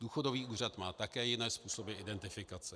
Důchodový úřad má také jiné způsoby identifikace.